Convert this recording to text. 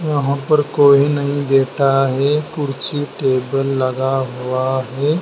यहां पर कोई नहीं देट रहा है कुर्सी टेबल लगा हुआ है।